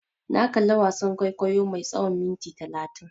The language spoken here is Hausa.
Na kalla wasan kwaikwayo mai tsawan minti talatin.